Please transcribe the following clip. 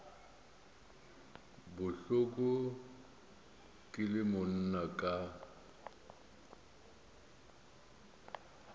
bohloko ke le monna ka